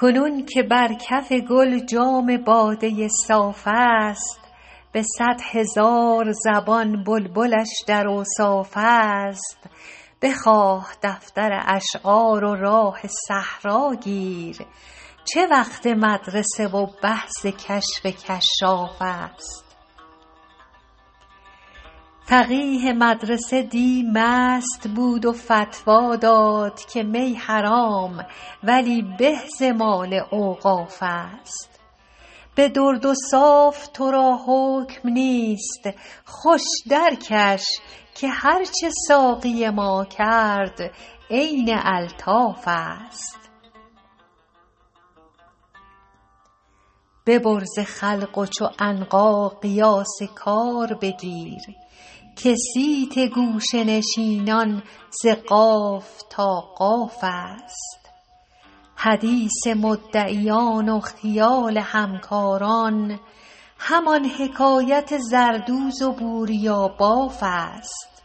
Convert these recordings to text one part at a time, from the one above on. کنون که بر کف گل جام باده صاف است به صد هزار زبان بلبلش در اوصاف است بخواه دفتر اشعار و راه صحرا گیر چه وقت مدرسه و بحث کشف کشاف است فقیه مدرسه دی مست بود و فتوی داد که می حرام ولی به ز مال اوقاف است به درد و صاف تو را حکم نیست خوش درکش که هرچه ساقی ما کرد عین الطاف است ببر ز خلق و چو عنقا قیاس کار بگیر که صیت گوشه نشینان ز قاف تا قاف است حدیث مدعیان و خیال همکاران همان حکایت زردوز و بوریاباف است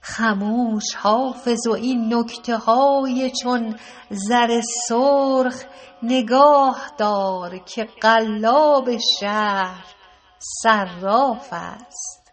خموش حافظ و این نکته های چون زر سرخ نگاه دار که قلاب شهر صراف است